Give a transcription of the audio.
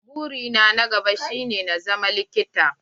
Buri na ta na gaba shi ne ta zama likita.